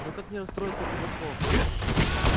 но как не расстроиться от его слов